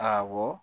Awɔ